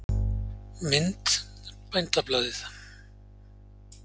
Mynd: Bændablaðið.